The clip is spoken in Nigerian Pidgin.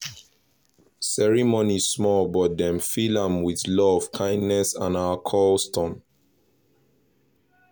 ceremony small but dem fill am with love kindness and our custom